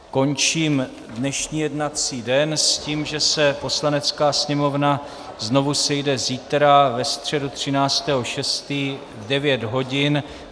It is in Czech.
Končím dnešní jednací den s tím, že se Poslanecká sněmovna znovu sejde zítra, ve středu 13. 6., v 9 hodin.